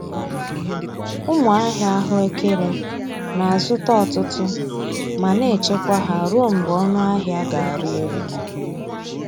Ụmụ ahia ahụ ekere na-azụta ọtụtụ ma na-echekwa ha ruo mgbe ọnụahịa ga-arị elu.